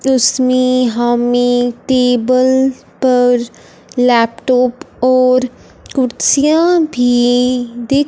इसमें हमें टेबल पर लैपटॉप और कुर्सियां भी दि--